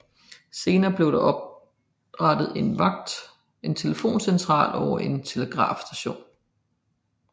Senere blev der oprettet en telefoncentral og telegrafstation